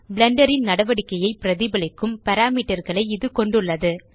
Blender ன் நடவடிக்கையை பிரதிபலிக்கும் பாராமீட்டர் களை இது கொண்டுள்ளது